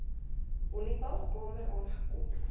honiball kamer aangekom